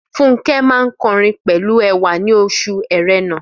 Fúnkẹ́ máa ń kọrin pẹ̀lú ẹwà ní oṣù erénà